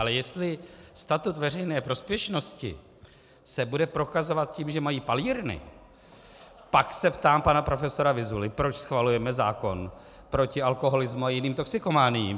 Ale jestli statut veřejné prospěšnosti se bude prokazovat tím, že mají palírny, pak se ptám pana profesora Vyzuly, proč schvalujeme zákon proti alkoholismu a jiným toxikomaniím.